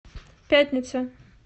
пятница